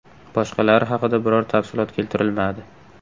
Boshqalari haqida biror tafsilot keltirilmadi.